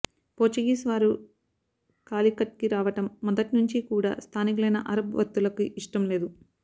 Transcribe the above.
Portuguese వారు కాలికట్ కి రావడం మొదట్నుంచీ కూడా స్థానికులైన అరబ్ వర్తకులకి ఇష్టం లేదు